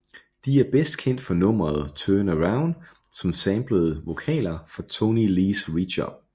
De er best kendt for nummeret Turn Around som samplede vokaler fra Toney Lees Reach Up